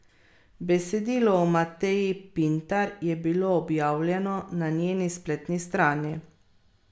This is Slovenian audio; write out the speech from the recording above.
Besedilo o Mateji Pintar je bilo objavljeno na njeni spletni strani.